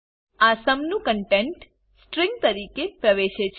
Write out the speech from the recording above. આ સુમ નું content string તરીકે પ્રવેશે છે